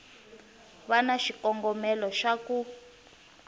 va na xikongomelo xa ku